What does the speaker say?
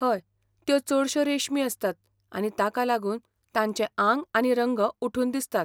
हय, त्यो चडश्यो रेशमी आसतात आनी ताका लागून तांचें आंग आनी रंग उठून दिसतात.